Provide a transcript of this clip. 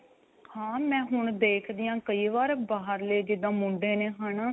ਹਾਂ ਮੈ ਹੁਣ ਦੇਖਦੀ ਆਂ ਕਈ ਵਾਰ ਬਾਹਰਲੇ ਜਿੱਦਾਂ ਮੁੰਡੇ ਨੇ ਹਨਾ.